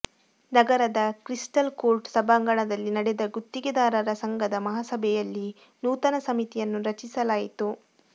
ನಗರದ Crystal Court ಸಭಾಂಗಣದಲ್ಲಿ ನಡೆದ ಗುತ್ತಿಗೆದಾರರ ಸಂಘದ ಮಹಾಸಭೆಯಲ್ಲಿ ನೂತನ ಸಮಿತಿಯನ್ನು ರಚಿಸಲಾಯಿತು